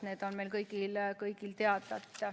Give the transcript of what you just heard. Need on meile kõigile teada.